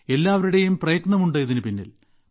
എല്ലാവരുടേയും പ്രയത്നമുണ്ട് ഇതിനു പിന്നിൽ